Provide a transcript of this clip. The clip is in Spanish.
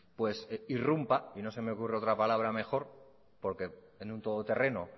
pues irrumpa y no se me ocurre otra palabra mejor porque en un todo terreno